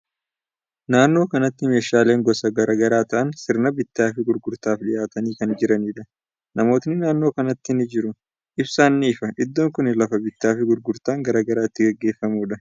Naannoo kanatti meeshaaleen gosa garagaraa ta'an, sirna bittaa fi gurgurtaaf dhiyyaatanii kan jiranidha. Namootni naannoo kanatti ni jiru. Ibsaan ni ifa. Iddoon kuni lafa bittaa fi gurgurtaan garagaraa itti gaggeeffamuudha.